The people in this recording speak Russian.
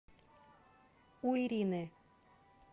у ирины